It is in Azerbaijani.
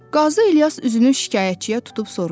Qazi İlyas üzünü şikayətçiyə tutub soruşdu.